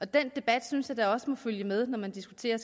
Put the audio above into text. den debat synes jeg da også må følge med når man diskuterer